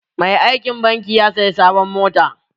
Mai aikin banki ya saya sabon mota.